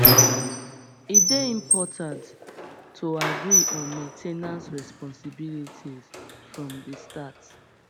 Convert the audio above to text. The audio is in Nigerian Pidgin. e dey important to agree on main ten ance responsibilities from the start